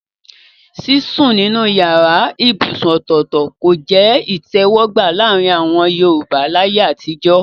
Sísùn nínú yàrá ibùsùn ọ̀tọ̀ọ̀tọ̀ kò jẹ́ ìtẹ̀wọ́gbà láàrin àwọn Yorùbá láyé àtijọ́